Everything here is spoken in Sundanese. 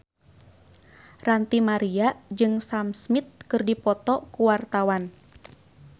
Ranty Maria jeung Sam Smith keur dipoto ku wartawan